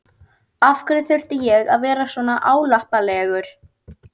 Af hverju þurfti ég að vera svona álappalegur?